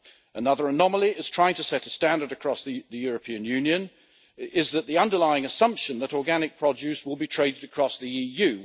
Another anomaly in trying to set a standard across the European Union is the underlying assumption that organic produce will be traded across the EU.